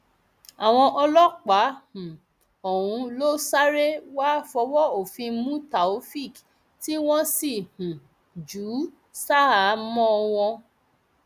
àwọn ọlọpàá um ọhún ló sáré wàá fọwọ òfin mú taofeek tí wọn sì um jù ú ṣaháámọ wọn